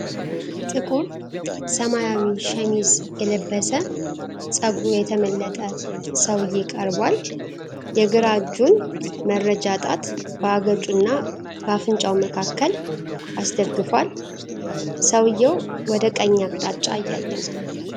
ጥቁር ሰማያዊ ሸሚዝ የለበሰ ፀጉሩ የተመለጠ ሰውዬ ቀርቧል፡፡ የግራ እጁን መረጃ ጣት በአገጩና በአፍንጫው መካከል አስደግፎል፡፡ ሰውየው ወደ ቀኝ አቅጣጫ እያየ ነው፡፡